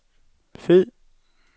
fed